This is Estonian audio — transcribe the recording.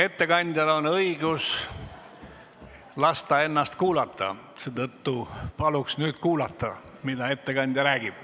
Ettekandjal on õigus lasta ennast kuulata, seetõttu paluks nüüd kuulata, mida ettekandja räägib.